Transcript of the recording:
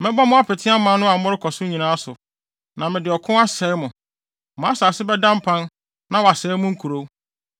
Mɛbɔ mo apete aman no a morekɔ so nyinaa so, na mede ɔko asɛe mo. Mo asase bɛda mpan na wɔasɛe mo nkurow.